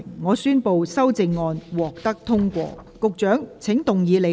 我宣布修正案獲得通過。